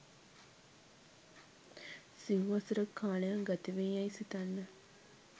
සිව් වසරක කාලයක් ගතවේ යැයි සිතන්න